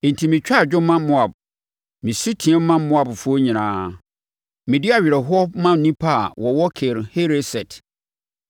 Enti metwa adwo ma Moab, mesu team ma Moabfoɔ nyinaa, medi awerɛhoɔ ma nnipa a wɔwɔ Kir Hereset.